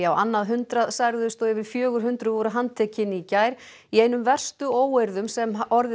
á annað hundrað særðust og yfir fjögur hundruð voru handtekin í gær í einum verstu óeirðum sem orðið